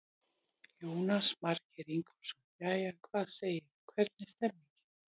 Jónas Margeir Ingólfsson: Jæja, hvað segirðu, hvernig er stemmingin í þér?